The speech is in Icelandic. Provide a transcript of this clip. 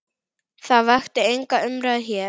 Það vakti enga umræðu hér.